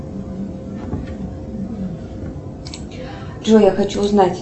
джой я хочу узнать